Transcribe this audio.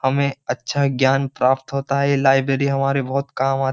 हमें अच्छा ज्ञान प्राप्त होता है। ये लाइब्रेरी हमारे बोहोत काम आ --